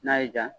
N'a y'i diya